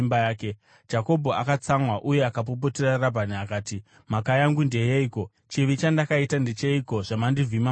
Jakobho akatsamwa uye akapopotera Rabhani akati, “Mhaka yangu ndeyeiko? Chivi chandakaita ndecheiko zvamandivhima mukadai?